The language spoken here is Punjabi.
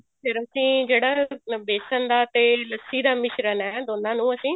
ਫ਼ੇਰ ਅਸੀਂ ਜਿਹੜਾ ਬੇਸਨ ਦਾ ਤੇ ਲੱਸੀ ਦਾ ਮਿਸ਼ਰਣ ਹੈ ਦੋਨਾ ਨੂੰ ਅਸੀਂ